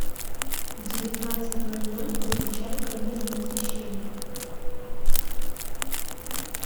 в девятнадцать ноль ноль выключай карнизное освещение